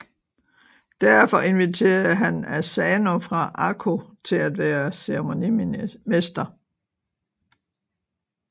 Derfor inviterede han Asano fra Ako til at være ceremonimester